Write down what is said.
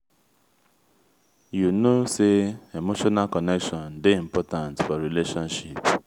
you no know sey emotional connection dey important for relationship.